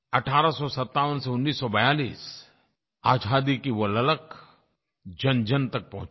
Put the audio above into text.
1857 से 1942 आज़ादी की वो ललक जनजन तक पहुँची